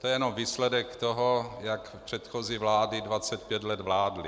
To je jenom výsledek toho, jak předchozí vlády 25 let vládly.